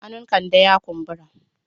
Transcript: Hannun Kande ya kumbura.